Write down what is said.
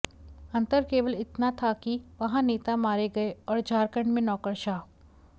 अंतर केवल इतना था कि वहां नेता मारे गए और झारखंड में नौकरशाह